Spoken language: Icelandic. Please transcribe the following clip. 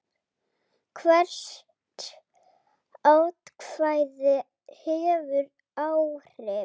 Hvert atkvæði hefur áhrif.